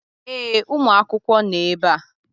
Ee, ụmụ akwụkwọ nọ ebe a.